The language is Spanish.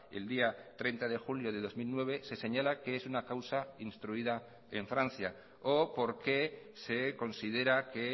el día treinta de julio de dos mil nueve se señala que es una causa instruida en francia o por qué se considera que